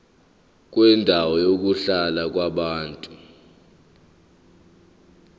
kwendawo yokuhlala yabantu